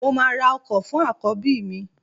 Mo máa ra ọkọ fún àkọ́bí mi